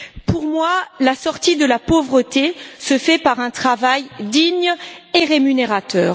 Pour moi, la sortie de la pauvreté se fait par un travail digne et rémunérateur.